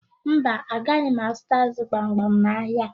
Mba, agaghị m azụta ázụ̀ gbamgbam n'ahịa.